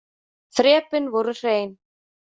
Þrepin voru hrein.